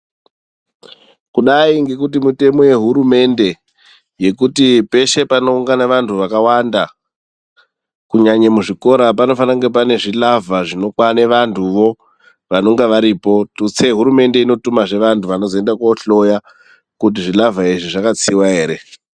Kudai ngekuti mitemo yehurumende yekuti peshe panoungana vantu vakawanda kunyanye muzvikora panofanire kunge pane zvilavha zvinokwane vantuvo vanonga varipo. Tutse hurumende inotumazve vantu vanozoinda kohloya kuti zvilavha izvi zvakatsiwa ere.